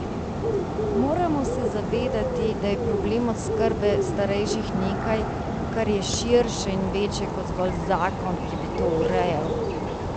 Moramo se zavedati, da je problem oskrbe starejših nekaj, kar je širše in večje kot zgolj zakon, ki bi to urejal.